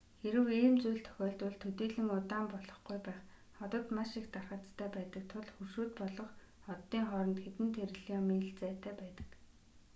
хэрэв ийм зүйл тохиолдвол төдийлөн удаан болохгүй байх одод маш их тархацтай байдаг тул хөршүүд болох оддын хооронд хэдэн триллион миль зайтай байдаг